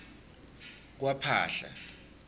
kwaphahla